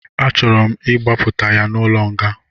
A chọrọ m ịgbapụta ya n'ụlọ nga